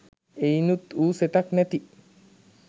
එයිනුත් වූ සෙතක්‌ නැති